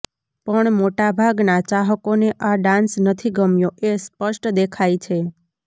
પણ મોટાભાગના ચાહકોને આ ડાન્સ નથી ગમ્યો એ સ્પષ્ટ દેખાય છે